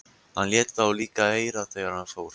Hann lét þá líka heyra það þegar hann fór.